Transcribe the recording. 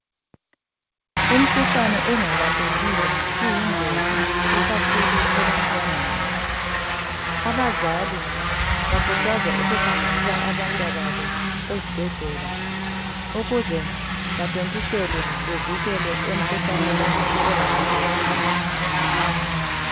Imikhuhlane engalaphekiyo iyingozi ikakhulu ebantwaneni abazali bakhuthazwa ukuhambisa abantwababo ezibhedlela ukuze bathontiselwe bevikelwe emikhuhlaneni engalaphekiyo.